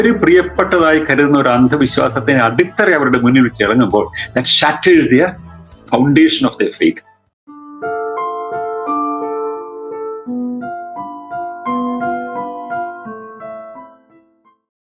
അത്രയും പ്രിയപ്പെട്ടതായി കരുതുന്നൊരു അന്ധവിശ്വാസത്തിന് അടിത്തറ അവരുടെ മുന്നീ വെച്ച് ഇറങ്ങുമ്പോൾ lets shattle their foundation of their fake